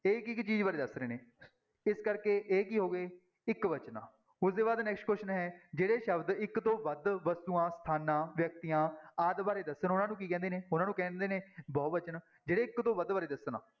ਇਹ ਇੱਕ ਇੱਕ ਚੀਜ਼ ਬਾਰੇ ਦੱਸ ਰਹੇ ਨੇ, ਇਸ ਕਰਕੇ ਇਹ ਕੀ ਹੋ ਗਏ ਇੱਕਵਚਨ, ਉਹਦੇ ਬਾਅਦ next question ਹੈ ਜਿਹੜੇ ਸ਼ਬਦ ਇੱਕ ਤੋਂ ਵੱਧ ਵਸਤੂਆਂ ਸਥਾਨਾਂ, ਵਿਅਕਤੀਆਂ ਆਦਿ ਬਾਰੇ ਦੱਸਣ ਉਹਨਾਂ ਨੂੰ ਕੀ ਕਹਿੰਦੇ ਨੇ, ਉਹਨਾਂ ਨੂੰ ਕਹਿੰਦੇ ਨੇ ਬਹੁ ਵਚਨ, ਜਿਹੜੇ ਇੱਕ ਤੋਂ ਵੱਧ ਬਾਰੇ ਦੱਸਣ।